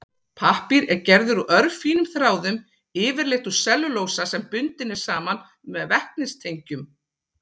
Pappír er gerður úr örfínum þráðum, yfirleitt úr sellulósa sem bundinn er saman með vetnistengjum.